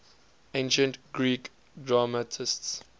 ancient greek dramatists